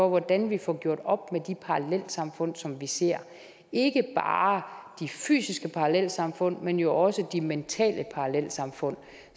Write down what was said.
hvordan vi får gjort op med de parallelsamfund som vi ser ikke bare de fysiske parallelsamfund men jo også de mentale parallelsamfund